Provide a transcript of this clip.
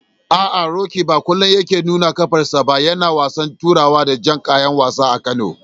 A'a, Roqeeb ba kullum yake nuna qafarsa ba yana wasan turawa da jan kayan wasa a Kano.